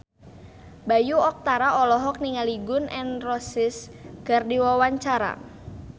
Bayu Octara olohok ningali Gun N Roses keur diwawancara